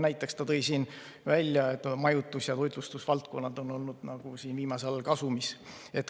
Näiteks ta tõi siin, et majutus‑ ja toitlustusvaldkonnad on olnud viimasel ajal kasumis.